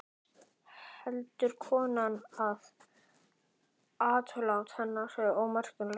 Heldur konan að atlot hennar séu mér ómakleg?